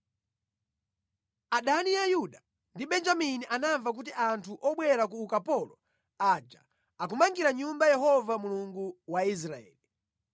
Adani a Yuda ndi Benjamini anamva kuti anthu obwera ku ukapolo aja akumangira Nyumba Yehova, Mulungu wa Israeli.